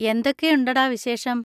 എന്തൊക്കെയുണ്ടെടാ വിശേഷം?